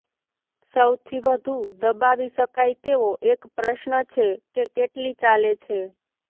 સૌથી વધુ દબાવી શકાય તેવો એક પ્રશ્ન છે કે કેટલી ચાલે છે